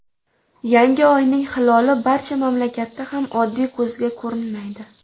Yangi oyning hiloli barcha mamlakatda ham oddiy ko‘zga ko‘rinmaydi.